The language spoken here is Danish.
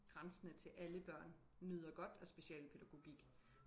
grænsende til alle børn nyder godt af specialpædagogik